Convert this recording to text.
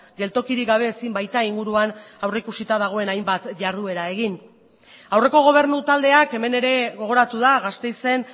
geltokirik gabe ezin baita inguruan aurrikusita dagoen hainbat jarduera egin aurreko gobernu taldeak hemen ere gogoratu da gasteizen